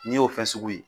N'i y'o fɛn sugu ye